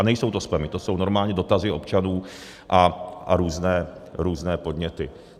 A nejsou to spamy, to jsou normálně dotazy občanů a různé podněty.